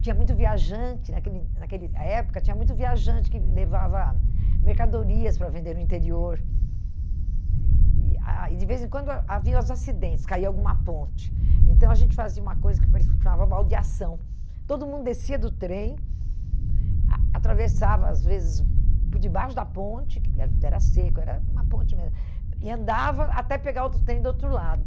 tinha muito viajante naquele naquele ah época tinha muito viajante que levava mercadorias para vender no interior e ah e de vez em quando ha haviam os acidentes, caia alguma ponte então a gente fazia uma coisa que chamava mal de ação todo mundo descia do trem a atravessava às vezes por debaixo da ponte que era era seco, era uma ponte mesmo e andava até pegar outro trem do outro lado